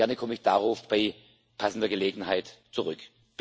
Gerne komme ich darauf bei passender Gelegenheit zurück.